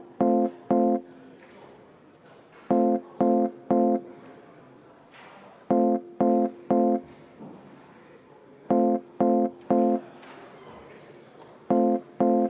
Näib nii, et keegi hääletamist ei soovi.